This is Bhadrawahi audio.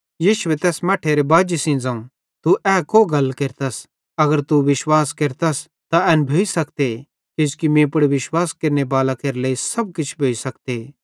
यीशुए तैस मट्ठेरे बाजी सेइं ज़ोवं तू ए को गल केरतस अगर तू विश्वास केरस त एन भोइ सकते किजोकि मीं पुड़ विश्वास केरनेबालां केरे लेइ सब किछ भोइ सकते